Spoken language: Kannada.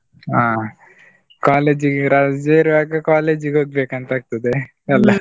ಅಹ್ college ಇಗೆ ರಜೆ ಇರ್ವಗ college ಇಗೆ ಹೋಗ್ಬೇಕು ಅಂತ ಆಗ್ತದೆ ?